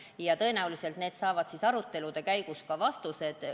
Ja tõenäoliselt saavad küsimused arutelude käigus ka vastused.